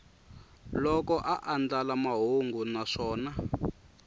loko a andlala mahungu naswona